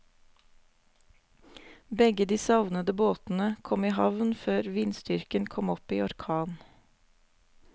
Begge de savnede båtene kom i havn før vindstyrken kom opp i orkan.